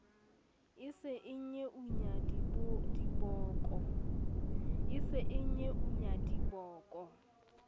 e se e nyeunya diboko